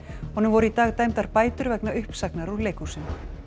honum voru í dag dæmdar bætur vegna uppsagnar úr leikhúsinu